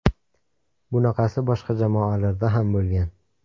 Bunaqasi boshqa jamoalarda ham bo‘lgan.